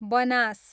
Banas